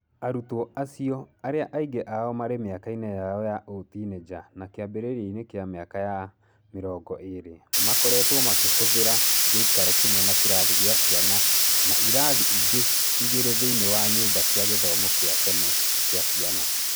Arutwo acio, arĩa aingĩ ao marĩ mĩaka-inĩ yao ya ũtinĩnja na kiambiriria-inĩ kĩa mĩaka ya mĩrongo ĩrĩ, makoretwo makĩh ũthĩra gĩikaro kĩmwe na kĩrathi kĩa ciana na irathi ingĩ igĩrĩ thĩinĩ wa ny ũmba cia gĩthomo kĩa tene gĩa ciana